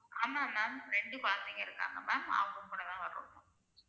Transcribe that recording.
ஆமா ma'am ரெண்டு கொழந்தைங்க இருக்காங்க ma'am அவங்க கூடதா வருவோம்